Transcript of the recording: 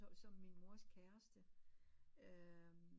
Som min mors kæreste øh